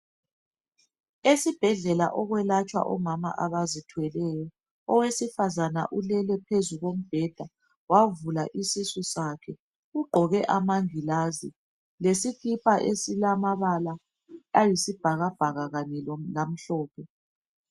Esibhedlela okwelatshwa omama abazithweleyo. Owesifazana ulele phezu kombheda wavula isisu sakhe. Ugqoke amangilazi lesikipa esilamabala ayisibhakabhaka kanye lamhlophe.